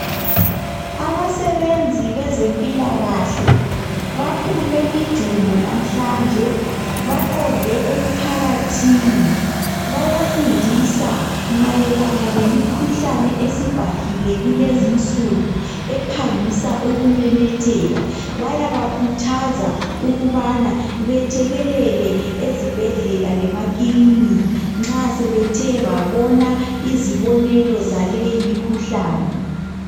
Abasebenzi bezempilakahle baphume ijumo lamhlanje baqonde emphakathini bayafundisa mayelana lemikhuhlane esibhahile kulezinsuku ephangisa ukumemetheka . Bayabakhuthaza ukubana bethekelele ezibhedlela lemakiliniki nxa sebethe babona izibonelo zaleyimikhuhlane.